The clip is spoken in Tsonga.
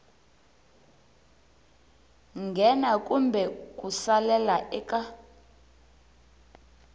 nghena kumbe ku salela eka